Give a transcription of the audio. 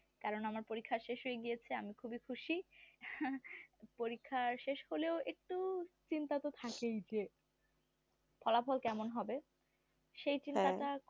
কারণ আমার পরীক্ষা শেষ হয়ে গিয়েছে আমি খুবিই খুশি। পরীক্ষা শেষ হলেও একটু চিন্তা তো থাকেই যে ফলাফল কেমন হবে সেই চিন্তাটা